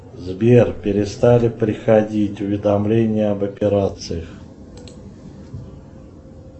сбер перестали приходить уведомления об операциях